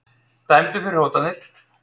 Dæmdur fyrir hótanir